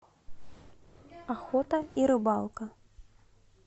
охота и рыбалка